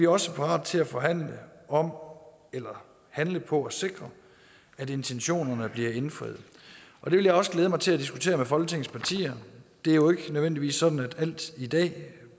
også parate til at forhandle om eller handle på at sikre at intentionerne bliver indfriet det vil jeg også glæde mig til at diskutere med folketingets partier det er jo ikke nødvendigvis sådan at alt i den